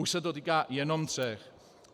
Už se to týká jenom tří.